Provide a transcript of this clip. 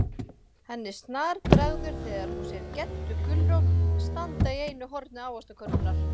Henni snarbregður þegar hún sér GEDDU GULRÓT standa í einu horni ávaxtakörfunnar.